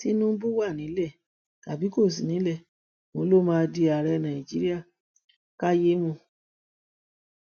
tinubu wà nílẹ tàbí kò sí nílẹ òun ló máa di ààrẹ nàìjíríà kẹyàmọ